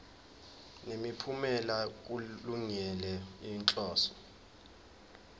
nemiphumela kulungele inhloso